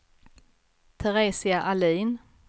Teresia Ahlin